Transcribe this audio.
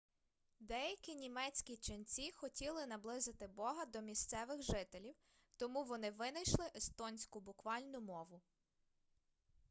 деякі німецькі ченці хотіли наблизити бога до місцевих жителів тому вони винайшли естонську буквальну мову